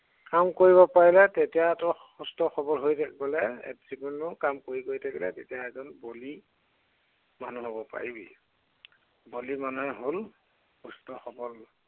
কাম কৰিব পাৰিলে তেতিয়া তই সুস্থ সৱল হৈ গলে, যি কোনো কাম কৰি গৈ থাকিলে, তেতিয়া এজন বলি, মানুহ হব পাৰিবি। বলি মানে হল সুস্থ সৱল।